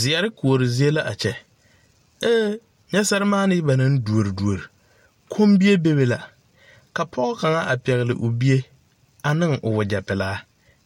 Zeɛre koɔri zie la a kyɛ aa nyɛ sɛrimaanii ba na duori duori biŋ komie bebe la ka pɔge kaŋa pɛgli o bie a noo wagyɛ pilaa